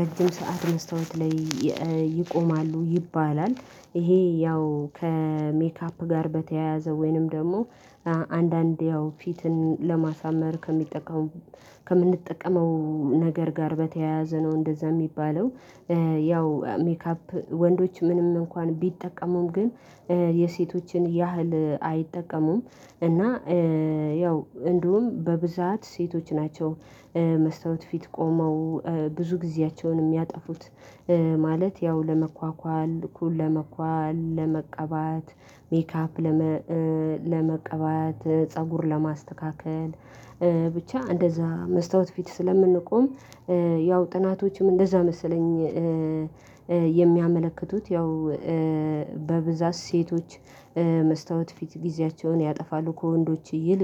ረጅም ሰዓት መስታወት ላይ ይቆማሉ ይባላል። ይሄ ያው ከሜካፕ ጋር በተያያዘ ወይንም ደግሞ አንዳንዴ ያው ፊትን ለማሳመር ከሚጠቀም ከምንጠቀመው ነገር ጋር በተያያዘ ነው እንደዛ የሚባለው። ያው ሜካፕ ወንዶች ምንም እንኳን ቢጠቀሙም ግን የሴቶችን ያህል አይጠቀሙም። እና ያው እንዲሁም በብዛት ሴቶች ናቸው። መስታወት ፊት ቆመው ብዙ ጊዜያቸውን የሚያጠፉት ማለት ያው ለመኳኳል ኩል ለመኳል ለመቀባት ሜካፕ ለመቀባት ፀጉር ለማስተካከል ብቻ እንደዛ መስታወት ፊት ስለምንቆም። ያው ጥናቶችም እንደዛ መሰለኝ የሚያመለክቱት ያው በብዛት ሴቶች መስታወት ፊት ጊዜያቸውን ያጠፋሉ ከወንዶች ይልቅ